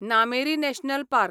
Nameri national park